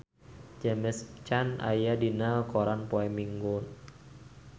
James Caan aya dina koran poe Minggon